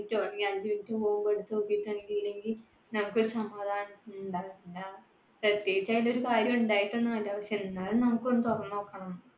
അഞ്ചു minute പോവുമ്പോ എടുത്ത് നോക്കി ഇല്ലെങ്കില്‍ നമുക്ക് ഒരു സമാധാനം ഉണ്ടാകില്ല. എന്താ പ്രത്യേകിച്ച് അതിലൊരു കാര്യം ഉണ്ടായിട്ട് ഒന്നുമല്ല, പക്ഷേ എന്നാലും നമുക്ക് ഒന്നു തുറന്നു നോക്കണം.